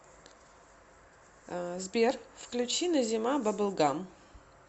сбер включи назима бабл гам